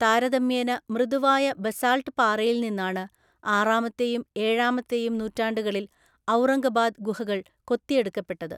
താരതമ്യേന മൃദുവായ ബസാൾട്ട് പാറയിൽനിന്നാണ്, ആറാമത്തെയും ഏഴാമത്തെയും നൂറ്റാണ്ടുകളിൽ ഔറംഗബാദ് ഗുഹകൾ കൊത്തിയെടുക്കപ്പെട്ടത്‌.